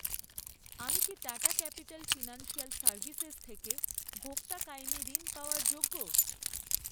আমি কি Tata Capital Financial Services থেকে ভোক্তা কায়েমী ঋণ পাওয়ার যোগ্য?